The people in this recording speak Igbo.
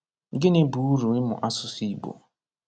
Gịnị bụ uru ịmụ asụsụ Igbo?